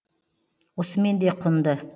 осымен де құнды